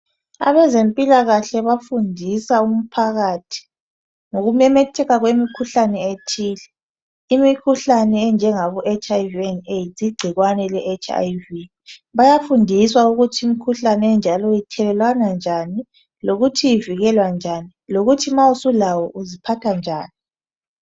Abezempilakahle bafundisa umphakathi ngokumemetheka kwemikhuhlane ethile efana legcikwane leHIV/AIDS. Bayafundiswa ukuthi imikhuhlane enjalo ethelelwana njani njalo ivikelwa njani loba umuntu mele aziphathe njani nxa eselawo.